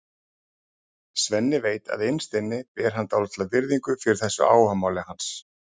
Svenni veit að innst inni ber hann dálitla virðingu fyrir þessu áhugamáli hans.